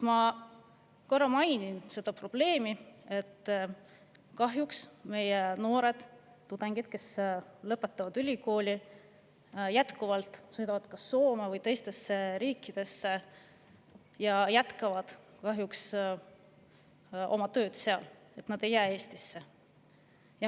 Ma korra mainin seda probleemi, et kahjuks meie noored tudengid, kes lõpetavad ülikooli, jätkuvalt sõidavad kas Soome või teistesse riikidesse ning jätkavad tööd seal, nad ei jää Eestisse.